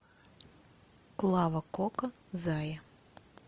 клава кока зая